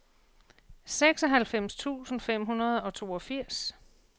seksoghalvfems tusind fem hundrede og toogfirs